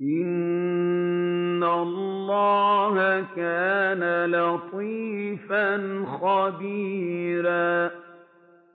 إِنَّ اللَّهَ كَانَ لَطِيفًا خَبِيرًا